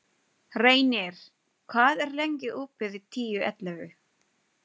Reynir, hvað er lengi opið í Tíu ellefu?